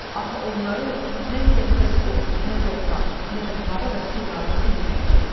Axı onları nə müqəddəs od, nə torpaq, nə də hava və su qəbul etməyəcək.